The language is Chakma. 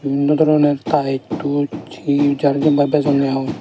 in nodoroner taes tus hi hi jare jempai bejonne hong.